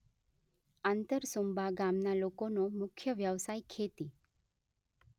આંતરસુંબા ગામના લોકોનો મુખ્ય વ્યવસાય ખેતી